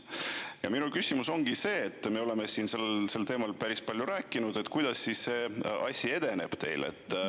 Ja minu küsimus ongi see, me oleme siin sel teemal päris palju rääkinud, et kuidas see asi siis edeneb teil.